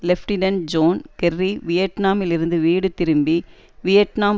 lieutenant John Kerry வியட்நாமில் இருந்து வீடு திரும்பி வியட்நாம்